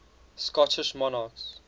scottish monarchs